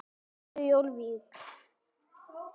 Nýju Jórvík.